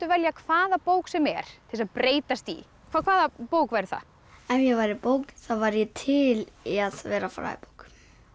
velja hvaða bók sem er til þess að breytast í hvaða bók væri það ef ég væri bók þá væri ég til í að vera fræðibók